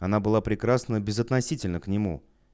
она была прекрасна безотносительно к нему